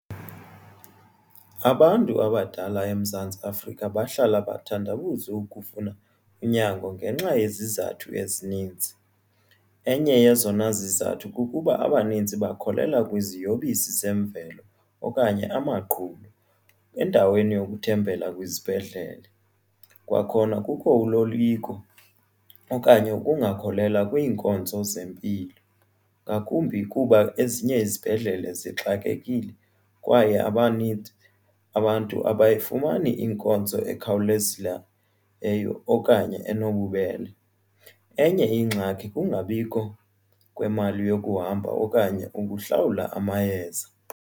Abantu abadala eMzantsi Afrika bahlala bathandabuze ukufuna unyango ngenxa yezizathu ezininzi. Enye yezona zizathu kukuba abaninzi bakholelwa kwiziyobisi zemvelo okanye amaqhuba endaweni yokuthembela kwizibhedlele. Kwakhona kukho uloyiko okanye ungakholelwa kwiinkonzo zempilo ngakumbi kuba ezinye izibhedlele zixakekile kwaye abaninzi abantu abayifumani inkonzo ekhawulezileyo okanye enobubele. Enye ingxaki kungabikho kwemali yokuhamba okanye ukuhlawula amayeza.